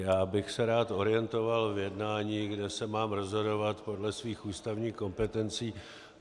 Já bych se rád orientoval v jednání, kde se mám rozhodovat podle svých ústavních kompetencí.